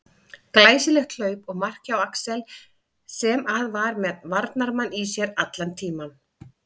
Glæsilegt hlaup og mark hjá Axel sem að var með varnarmann í sér allan tímann.